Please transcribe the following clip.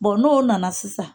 n'o nana sisan.